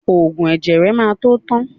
Ògùn ẹ̀jẹ̀ ẹ má tó tán